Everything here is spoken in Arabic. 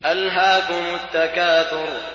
أَلْهَاكُمُ التَّكَاثُرُ